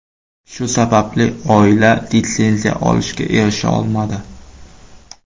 Shu sababli oila litsenziya olishga erisha olmadi.